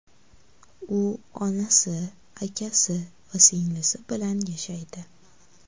U onasi, akasi va singlisi bilan yashaydi.